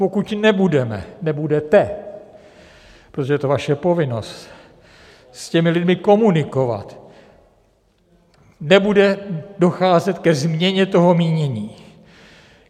Pokud nebudeme, nebudete, protože to je vaše povinnost s těmi lidmi komunikovat, nebude docházet ke změně toho mínění.